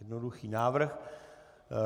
Jednoduchý návrh.